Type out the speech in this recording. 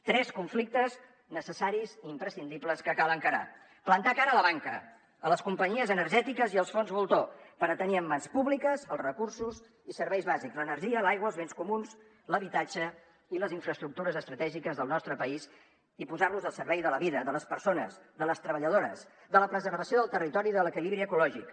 tres conflictes necessaris i imprescindibles que cal encarar plantar cara a la banca a les companyies energètiques i als fons voltor per tenir en mans públiques els recursos i serveis bàsics l’energia l’aigua els béns comuns l’habitatge i les infraestructures estratègiques del nostre país i posar los al servei de la vida de les persones de les treballadores de la preservació del territori i de l’equilibri ecològic